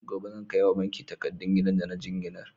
Gobe zan kai wa banki takadun gidan da na jinginar?